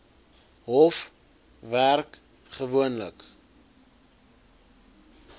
hof werk gewoonlik